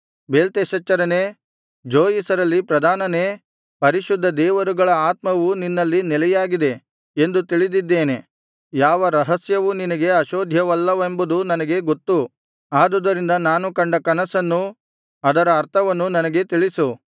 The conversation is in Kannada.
ಬೇಲ್ತೆಶಚ್ಚರನೇ ಜೋಯಿಸರಲ್ಲಿ ಪ್ರಧಾನನೇ ಪರಿಶುದ್ಧ ದೇವರುಗಳ ಆತ್ಮವು ನಿನ್ನಲ್ಲಿ ನೆಲೆಯಾಗಿದೆ ಎಂದು ತಿಳಿದಿದ್ದೇನೆ ಯಾವ ರಹಸ್ಯವೂ ನಿನಗೆ ಅಶೋಧ್ಯವಲ್ಲವೆಂಬುದು ನನಗೆ ಗೊತ್ತು ಆದುದರಿಂದ ನಾನು ಕಂಡ ಕನಸನ್ನೂ ಅದರ ಅರ್ಥವನ್ನೂ ನನಗೆ ತಿಳಿಸು